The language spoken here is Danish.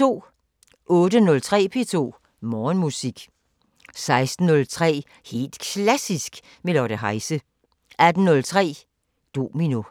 08:03: P2 Morgenmusik 16:03: Helt Klassisk med Lotte Heise 18:03: Domino